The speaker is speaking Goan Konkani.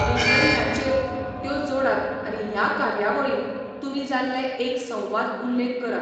लिंक्डइनाचेर त्यो जोडात आनी ह्या कार्यावळींत तुमी जाल्लें एक संवाद उल्लेख करात.